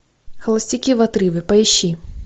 холостяки в отрыве поищи